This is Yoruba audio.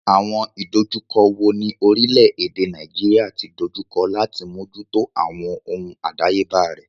Àwọn ìdojúkọ wo ni orílẹ̀-èdè Nàìjíríà ti dojú kọ láti mójútó àwọn ohun àdáyébá rẹ̀?